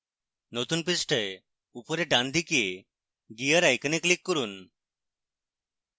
নতুন পৃষ্ঠায় উপরের ডানদিকে gear icon click করুন